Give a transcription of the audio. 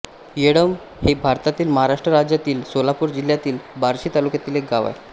येळंब हे भारतातील महाराष्ट्र राज्यातील सोलापूर जिल्ह्यातील बार्शी तालुक्यातील एक गाव आहे